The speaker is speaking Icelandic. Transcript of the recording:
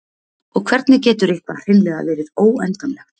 Og hvernig getur eitthvað hreinlega verið óendanlegt?